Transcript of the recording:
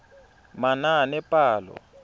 manaanepalo